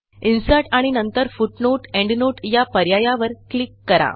insert आणि नंतर footnoteएंडनोट या पर्यायावर क्लिक करा